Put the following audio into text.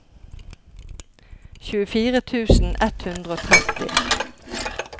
tjuefire tusen ett hundre og tretti